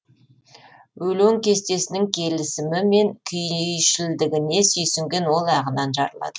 өлең кестесінің келісімі мен күйшілдігіне сүйсінген ол ағынан жарылады